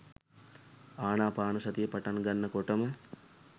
ආනාපානසතිය පටන් ගන්න කොටම